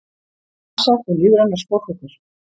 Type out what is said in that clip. Basar og lífrænar smákökur